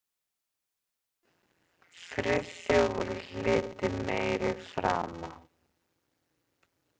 Friðþjófur hlyti meiri frama.